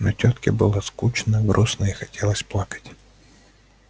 но тётке было скучно грустно и хотелось плакать